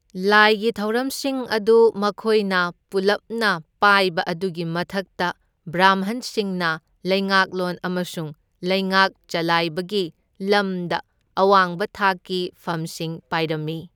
ꯂꯥꯏꯒꯤ ꯊꯧꯔꯝꯁꯤꯡ ꯑꯗꯨ ꯃꯈꯣꯏꯅ ꯄꯨꯜꯂꯞꯅ ꯄꯥꯏꯕ ꯑꯗꯨꯒꯤ ꯃꯊꯛꯇ ꯕ꯭ꯔꯥꯝꯍꯟꯁꯤꯡꯅ ꯂꯩꯉꯥꯛꯂꯣꯟ ꯑꯃꯁꯨꯡ ꯂꯩꯉꯥꯛ ꯆꯜꯂꯥꯏꯕꯒꯤ ꯂꯝꯗ ꯑꯋꯥꯡꯕ ꯊꯥꯛꯀꯤ ꯐꯝꯁꯤꯡ ꯄꯥꯏꯔꯝꯃꯤ꯫